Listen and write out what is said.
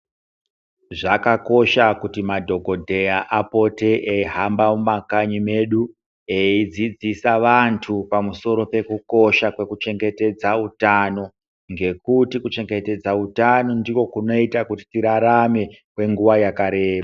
Zvakakosha kuti madhogodheya apote eihamba mumakanyi medu eidzidzisa vantu pamusoro pekukosha kwekuchengetedza utano, ngekuti kuchengetedza utano kunoita kuti tirarame kwenguva yakareba.